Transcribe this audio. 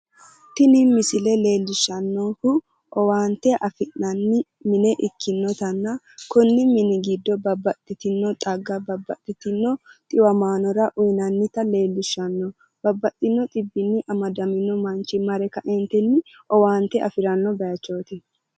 Tini misile leellishshannohu, owaante afi'nanni mine ikkinotanna konni mini giddo babbaxxitino xagganna babbaxitino xiwamaanora uuyinannota leellishshanno babaxino xibbini amadamino manchi mare kaeentini owaante afiranno bayiichooti.